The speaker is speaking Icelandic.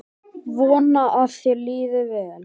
Vona að þér líði vel.